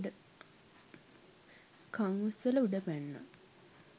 කණ් උස්සලා උඩ පැන්නා.